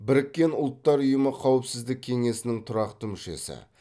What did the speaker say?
біріккен ұлттар ұйымы қауіпсіздік кеңесінің тұрақты мүшесі